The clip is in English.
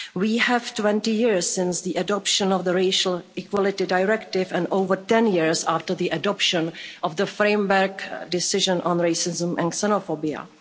We have 20 years since the adoption of the Racial Equality Directive and over 10 years after the adoption of the framework decision on racism and xenophobia.